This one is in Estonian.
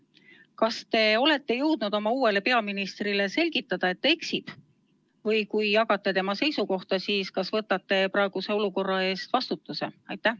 Kas te olete jõudnud oma uuele peaministrile selgitada, et ta eksib, või kui jagate tema seisukohta, siis kas võtate praeguse olukorra eest vastutuse?